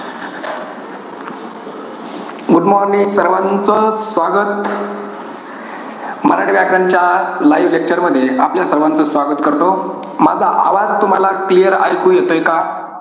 Good morning सर्वांचं स्वागत. मराठी व्याकरणाच्या live lecture मध्ये आपल्या सर्वांचं स्वागत करतो. माझा आवाज तुम्हाला clear ऐकू येतोय का?